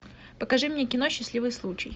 покажи мне кино счастливый случай